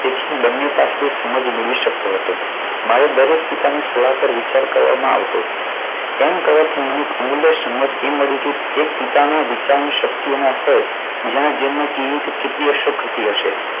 તેથી બંને પાસેથી સમજ મેળવી શકતો હતો. મારે દરેક પિતાની સલાહ પર વિચાર કરવામાં આવતો એમ કરવાથી મને અમૂલ્ય સમજ એ મળી. કે એક પિતાના વિચારની શક્તિના સ્તર જેને ધ્યાનમાં કેવી રીતે કેટલી અસર કરતી હશે?